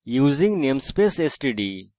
using namespace std